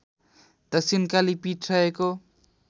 दक्षिणकाली पीठ रहेको